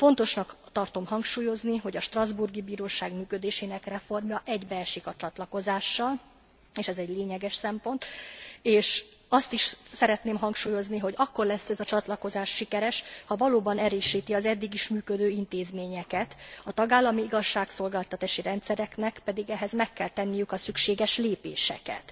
Fontosnak tartom hangsúlyozni, hogy a strasbourgi bíróság működésének reformja egybeesik a csatlakozással, és ez egy lényeges szempont, és azt is szeretném hangsúlyozni, hogy akkor lesz ez a csatlakozás sikeres, ha valóban erősíti az eddig is működő intézményeket, a tagállami igazságszolgáltatási rendszereknek pedig ehhez meg kell tenniük a szükséges lépéseket.